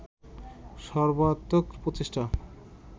সর্বাত্মক প্রচেষ্টা